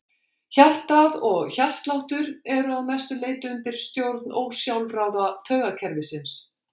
Hjartað og hjartsláttur eru að mestu leyti undir stjórn ósjálfráða taugakerfisins.